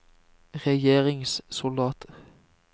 regjeringssoldater